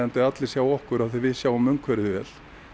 allir sjái okkur af því við sjáum umhverfið vel